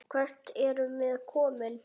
Hvert erum við komin?